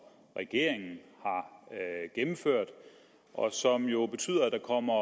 regeringen har gennemført og som jo betyder at der kommer